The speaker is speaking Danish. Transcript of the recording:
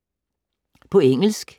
På engelsk